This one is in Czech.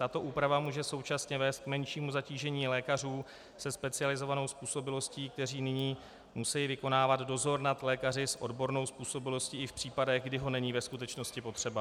Tato úprava může současně vést k menšímu zatížení lékařů se specializovanou způsobilostí, kteří nyní musejí vykonávat dozor nad lékaři s odbornou způsobilostí i v případech, kdy ho není ve skutečnosti potřeba.